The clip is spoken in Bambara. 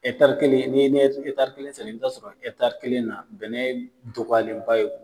kelen ni ye kelen sɛnɛ , i bi taa sɔrɔ kelen na bɛnɛ dɔgɔyalen ba ye.